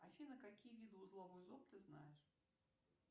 афина какие виды узлов ты знаешь